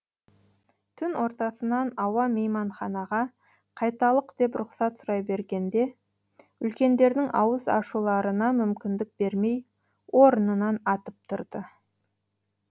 түн ортасынан ауа мейманханаға қайталық деп рұқсат сұрай бергенде үлкендердің ауыз ашуларына мүмкіндік бермей орынынан атып тұрды